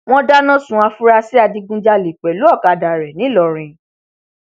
wọn dáná sun àfúrásì adigunjalè pẹlú ọkadà rẹ ńìlọrin